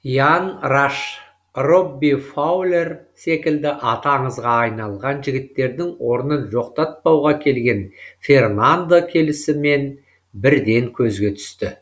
иан раш робби фаулер секілді аты аңызға айналған жігіттердің орнын жоқтатпауға келген фернандо келісімен бірден көзге түсті